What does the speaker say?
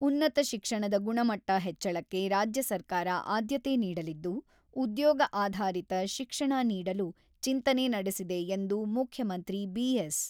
ಉನ್ನತ ಶಿಕ್ಷಣದ ಗುಣಮಟ್ಟ ಹೆಚ್ಚಳಕ್ಕೆ ರಾಜ್ಯ ಸರ್ಕಾರ ಆದ್ಯತೆ ನೀಡಲಿದ್ದು, ಉದ್ಯೋಗ ಆಧಾರಿತ ಶಿಕ್ಷಣ ನೀಡಲು ಚಿಂತನೆ ನಡೆಸಿದೆ ಎಂದು ಮುಖ್ಯಮಂತ್ರಿ ಬಿ.ಎಸ್.